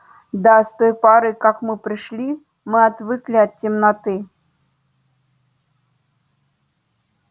да с той поры как вы пришли мы отвыкли от темноты